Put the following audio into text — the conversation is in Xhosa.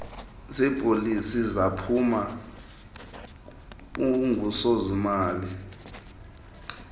zeepolisi zaphuma ungusozimali